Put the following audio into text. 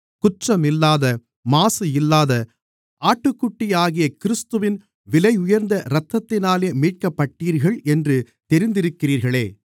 குற்றம் இல்லாத மாசு இல்லாத ஆட்டுக்குட்டியாகிய கிறிஸ்துவின் விலையுயர்ந்த இரத்தத்தினாலே மீட்கப்பட்டீர்கள் என்று தெரிந்திருக்கிறீர்களே